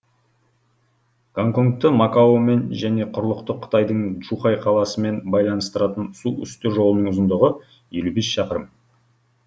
гонконгты макаомен және құрлықтық қытайдың джухай қаласымен байланыстыратын су үсті жолының ұзындығы елу бес шақырым